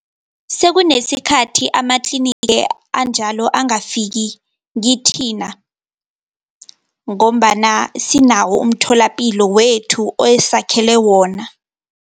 Sekunesikhathi amatliniki anjalo angafiki kithina, ngombana sinawo umtholapilo wethu osakhelwe wona.